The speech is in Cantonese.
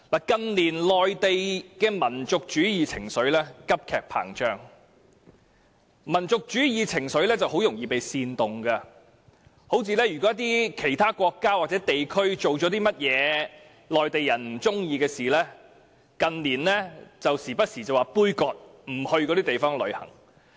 近年內地的民族主義情緒高漲，民族主義情緒很容易被煽動，如果某國家或地區做了一些內地人不喜歡的事，他們動不動便說杯葛，不到那些地方旅遊。